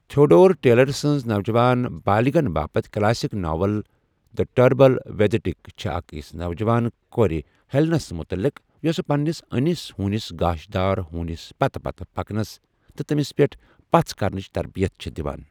Theodore Taylor سٕنٛز نوجوان بالغن باپت classic novel, the trouble with Tuck, چھےٚ أکِس نو جوان کورِ، ہیٚلنس متعلق، یۄسہ پنٛنِس أنِس ہوٗنِس گاشدار ہوٗنِس پتہٕ پتہٕ پکنس تہٕ تٔمِس پیٛٹھ پژھ کرنٕچ تربِیت چھےٚ دِوان۔